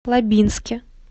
лабинске